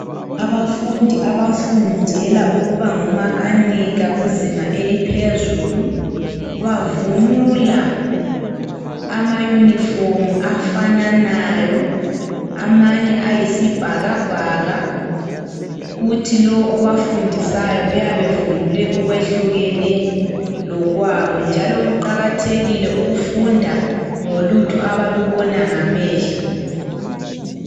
Abafundi abafundela ukuba ngomakanika kuzinga eliphezulu bavunula ama uniform afananayo amanye ayisibhakabhaka. Kuthi lowo obafundisayo uyabe evunule okwehlukene lokwabo njalo kuqakathekile ukufunda ngolutho abalubona ngamehlo.